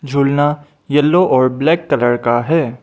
झूलना येलो और black colour का है।